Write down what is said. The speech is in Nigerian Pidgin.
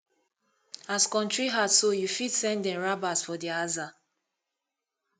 as kontry hard so yu fit send dem rabas for dia aza